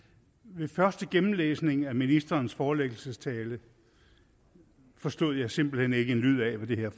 ved første gennemlæsning af ministerens forelæggelsestale forstod jeg simpelt hen ikke en lyd af hvad det her